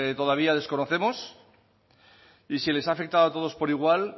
todavía desconocemos y si les ha afectado a todos por igual